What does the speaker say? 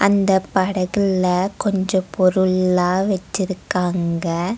அந்தப் படகுல கொஞ்ச பொருள்லா வெச்சிருக்காங்க.